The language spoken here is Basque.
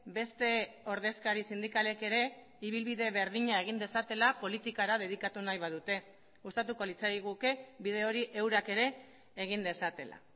beste ordezkari sindikalek ere ibilbide berdina egin dezatela politikara dedikatu nahi badute gustatuko litzaiguke bide hori eurak ere egin dezatela